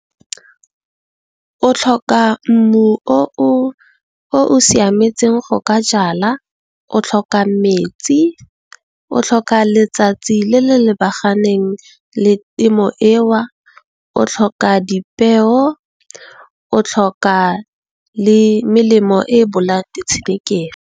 O tlhoka mmu o o siametseng go ka jala, o tlhoka metsi, o tlhoka letsatsi le le lebaganeng le temo eo, o tlhoka dipeo, o tlhoka le melemo e bolayang di tshenekegi.